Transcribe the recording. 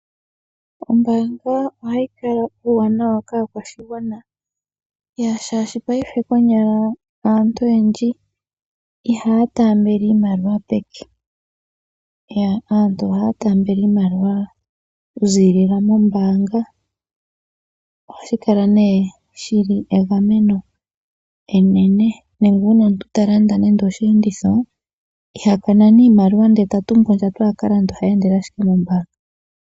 Ombaanga ohayi fala uuwanawa kaakwashigwana shaashi paife aantu oyendji ihaya taambele iimaliwa peke. Aantu ohaya taambele iimaliwa moombaanga nande omuntu a hala a ka lande osheenditho iha tumbu iimaliwa a ye nayo ohayi endele ashike kombaanga.